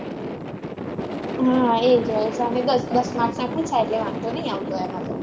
હા એ જ હોય છે દસ દસ marks ના પુછાય એટલે વાંધો નહિ આવતો એમાં તો